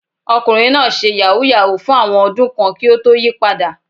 Ọkùnrin náà ṣe yàhú yàhú fún àwọn ọdún kan kí ó tó yí padà.